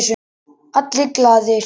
Allir glaðir.